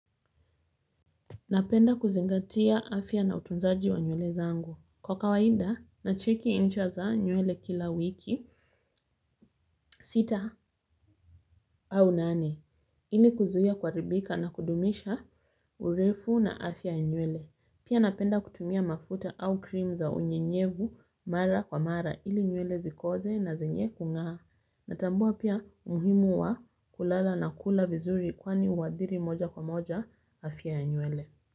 Napenda kuzingatia afya na utunzaji wa nywele zangu. Kwa kawaida nacheki ncha za nywele kula wiki, sita au nane ili kuzuia kuharibika na kudumisha urefu na afya ya nywele. Pia napenda kutumia mafuta au krim za unyenyevu mara kwa mara ili nywele zikoze na zenye kung'aa. Natambua pia umuhimu wa kulala na kula vizuri kwani huathiri moja kwa moja afya ya nywele.